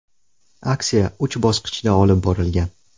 Aksiya uch bosqichda olib borilgan.